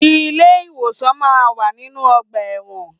Ilé ìwòsàn máa ń wà nínú ọgbà ẹ̀wọ̀n.